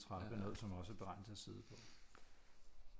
Trappe noget som også er beregnet til at sidde på